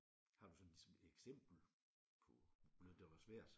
Har du sådan ligesom et eksempel på noget der var svært?